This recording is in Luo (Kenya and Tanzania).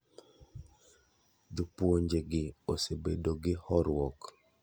Jopuonje gi osebedo gi horuok